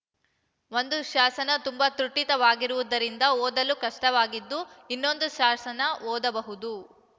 ಒಂದು ಶಾಸನ ತುಂಬಾ ತೃಟಿತವಾಗಿರುವುದರಿಂದ ಓದಲು ಕಷ್ಟವಾಗಿದ್ದು ಇನ್ನೊಂದು ಶಾಸನ ಓದಬಹುದು